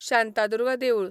शांतादुर्गा देवूळ